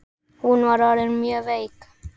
Hún var orðin mjög veik.